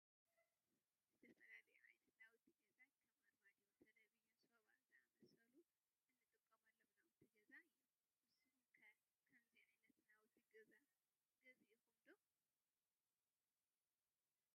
ዝተፈላለዮ ዓይነት ናውቲ ገዛ ከም አርማዶ፣ ቴለብዥን፣ ሶፋ ዝአመሰሉ እንጥቀመሎም ናውቲ ገዛ እዮም ።ንስኩም ከ ከምዚ ዓይነት ናውቲ ገዛ ገዝእኩም ዶ